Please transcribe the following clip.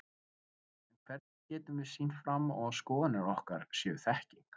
En hvernig getum við sýnt fram á að skoðanir okkar séu þekking?